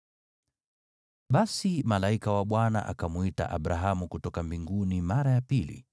Basi malaika wa Bwana akamwita Abrahamu kutoka mbinguni mara ya pili,